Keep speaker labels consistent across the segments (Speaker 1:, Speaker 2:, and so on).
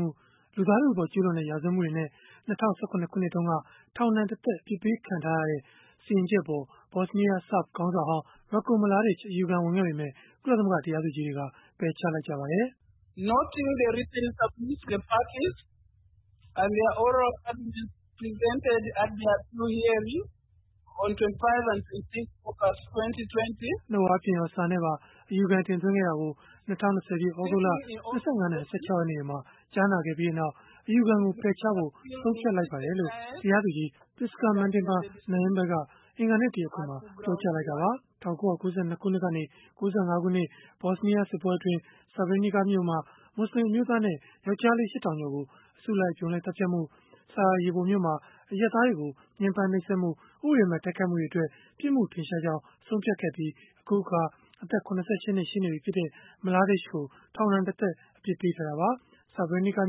Speaker 1: မှု၊ လူသားထုအပေါ် ကျုးလွန်တဲ့ ရာဇဝတ်မှုတွေနဲ့ ၂၀၁၇ ခုနှစ်တုန်းက ထောင်ဒဏ်တသက် အပြစ်ပေး ခံထားရတဲ့ စီရင်ချက်အပေါ် ဘော့်စ်နီးယား ဆာဗ်ခေါင်းဆောင်ဟောင်း Ratko Mladic အယူခံဝင်ခဲ့ပေမဲ့ ကုလသမဂ္ဂ တရားသူကြီးတွေက ပယ်ချလိုက်ပါတယ်။
Speaker 2: “နှုတ်အားဖြင့်ရော၊
Speaker 1: စာနဲ့ပါ အယူခံတင်သွင်းခဲ့တာကို ၂၀၂၀ ပြည့် သြဂုတ်လ ၂၅ နဲ့ ၂၆ ရက်နေ့တွေမှာ ကြားနာခဲ့ပြီးနောက်၊ အယူခံကို ပယ်ချဖို့ ဆုံးဖြတ်လိုက်ပါတယ်။” လို့ တရားသူကြီး Prisca Matimba Nyambe က အင်္ဂါနေ့ တရားခွင်မှာ ပြောကြားခဲ့တာပါ။ ၁၉၉၂ ကနေ ၉၅ ခုနှစ် ဘော့်စ်နီးယားစစ်ပွဲအတွင်း Srebrenica မြို့မှာ မွတ်ဆလင် အမျိုးသားနဲ့ ယောက်ကျားလေး ၈ ထောင်ကျော်ကို အစုလိုက်အပြုံလိုက် သတ်ဖြတ်မှု၊ Sarajevo မြို့မှာ အရပ်သားတွေကို ညှင်းပမ်းနှိပ်စက်မှု၊ ဥပဒေမဲ့ တိုက်ခိုက်မှုတွေအတွက် ပြစ်မှုထင်ရှားကြောင်း ဆုံးဖြတ်ခဲ့ပြီး အခုအခါ အသက် ၇၈ နှစ် ရှိနေပြီဖြစ်တဲ့ Mladic ကို ထောင်ဒဏ်တသက် အပြစ်ပေးထားတာပါ။ Srebrenica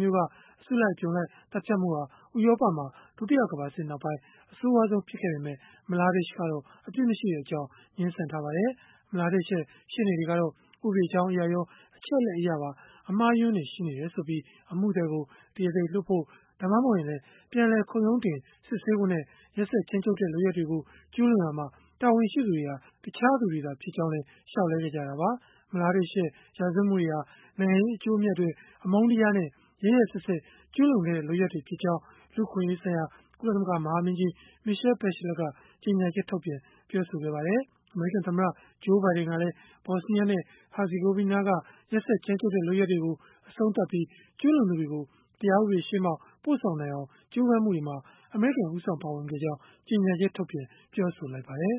Speaker 1: မြို့က အစုလိုက်အပြုံလိုက် သတ်ဖြတ်မှုဟာ ဥရောပမှာ ဒုတိယကမ္ဘာစစ်နောက်ပိုင်း အဆိုးရွားဆုံး ဖြစ်ခဲ့ပေမဲ့ Mladic ကတော့ အပြစ်မရှိကြောင်း ငြင်းဆန်ထားပါတယ်။ Mladic ရဲ့ ရှေ့နေတွေကတော့ ဥပဒေကြောင်းအရရော၊ အချက်အလက်အရပါ အမှားအယွင်းတွေ ရှိနေတယ်ဆိုပြီး အမှုသည်ကို တရားသေလွှတ်ဖို့ ဒါမှမဟုတ်ရင်လည်း ပြန်လည် ခုံရုံးတင်စစ်ဆေးဖို့နဲ့ ရက်စက်ကြမ်းကြုတ်တဲ့ လုပ်ရပ်တွေကို ကျုးလွန်ရာမှာ တာဝန်ရှိသူတွေဟာ တခြားသူတွေသာ ဖြစ်ကြောင်း လျှောက်လဲခဲ့ကြတာပါ။ Mladic ရဲ့ ရာဇဝတ်မှုတွေဟာ နိုင်ငံရေး အကျိုးအမြတ်အတွက် အမုန်းတရားနဲ့ ရက်ရက်စက်စက် ကျုးလွန်ခဲ့တဲ့ လုပ်ရပ်တွေဖြစ်ကြောင်း လူ့အခွင့်အရေးဆိုင်ရာ ကုလသမဂ္ဂ မဟာမင်းကြီး Michelle Bachelet ကကြေညာချက်ထုတ်ပြန် ပြောဆိုခဲ့ပါတယ်။ အမေရိကန်သမ္မတ Joe Biden ကလည်း ဘော့်စ်နီးယားနဲ့ ဟာဇီဂိုဗီနားက ရက်စက်ကြမ်းကြုတ်တဲ့ လုပ်ရပ်တွေကို အဆုံးသတ်ပြီး၊ ကျုးလွန်သူတွေကို တရားဥပဒေရှေ့မှောက် ပို့ဆောင်နိုင်အောင် ကြိုးပမ်းမှုတွေမှာ အမေရိကန် ဦးဆောင်ပါဝင်ခဲ့ကြောင်း ကြေညာချက်ထုတ်ပြန် ပြောဆိုလိုက်ပါတယ်